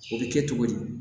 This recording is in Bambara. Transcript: O bɛ kɛ cogo di